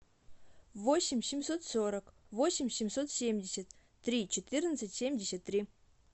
восемь семьсот сорок восемь семьсот семьдесят три четырнадцать семьдесят три